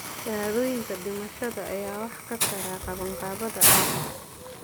Shahaadooyinka dhimashada ayaa wax ka tara qabanqaabada aaska.